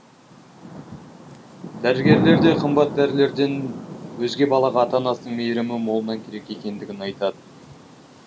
дәрігерлер де қымбат дәрілерден өзге балаға ата анасының мейірімі молынан керек екендігін айтады